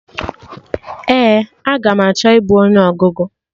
Ee, aga m achọ ibu onye ọgụgụ